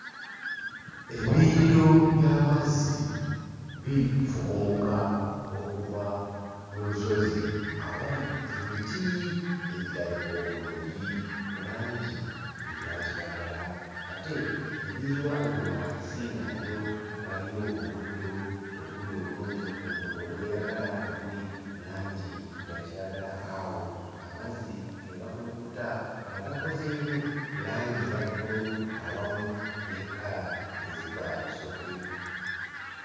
Ebiyiriro by'amazzi bifukumuka okuva mu lusozi awali emiti egirabika obulungi mu langi eya kiragala ate ne biyiwa eno wansi nga nayo waliyo omuddo oguli obulungi omu... ogweyagala nga guli mu langi ya kiragala awo amazzi ne gakulukuta nga gakozeemu langi eya bbululu awamu ne kkala ezikola Musoke.